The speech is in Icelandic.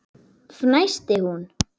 fnæsti hún.